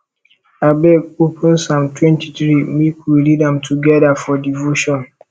abeg open psalm 23 make we read am together for devotion